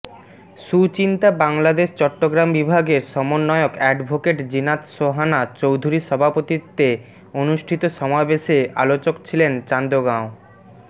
সুচিন্তা বাংলাদেশ চট্টগ্রাম বিভাগের সমন্বয়ক অ্যাডভোকেট জিনাত সোহানা চৌধুরীর সভাপতিত্বে অনুষ্ঠিত সমাবেশে আলোচক ছিলেন চান্দগাঁও